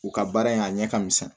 U ka baara ye a ɲɛ ka misɛn